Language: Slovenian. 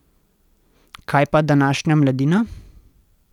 Kaj pa današnja mladina?